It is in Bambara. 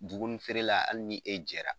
Dumuni feerela hali ni e jɛra